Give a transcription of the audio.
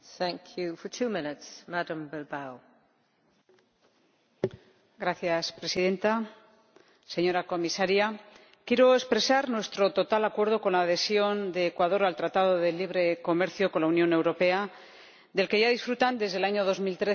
Señora Presidenta, señora Comisaria, quiero expresar nuestro total acuerdo con la adhesión de Ecuador al Acuerdo comercial con la Unión Europea del que ya disfrutan desde el año 2013 Colombia y Perú.